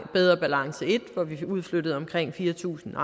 bedre balance i hvor vi udflyttede omkring fire tusind